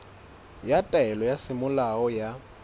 ya taelo ya semolao ya